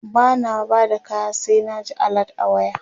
bana Bada kaya sai na ji alert a waya